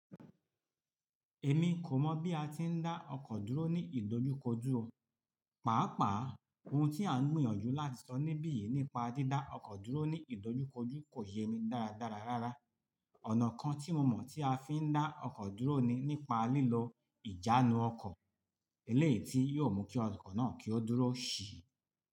Èmi kò mọ̀ bí a ti ń dá ọkọ̀ dúró ní ìdojúkojú o. Pàápàá, ohun tí à ń gbìyànjú láti sọ níbí yìí nípa dídá ọkọ̀ dúró ní ìdojúkojú kò ye mi dáradára rárá. Ọ̀nà kan tí mo mọ̀ tí a fi ń dá ọkọ̀ dúró ni nípa lílo ìjánu ọkọ̀. Eléyìí tí yóò mú kí ọkọ̀ náà kí ó dúró síi.